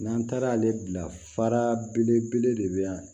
N'an taara ale bila fara belebele de be yan